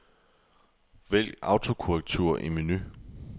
Vælg autokorrektur i menu.